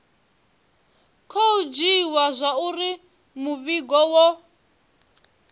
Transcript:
khou dzhiiwa zwauri muvhigo wo